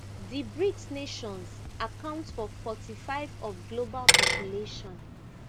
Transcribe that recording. di brics nations account for forty-five of global population